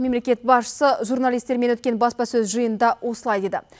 мемлекет басшысы журналистермен өткен баспасөз жиынында осылай деді